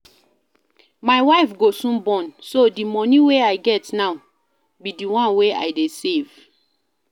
My wife go soon born so the money wey I get now be the one wey I dey save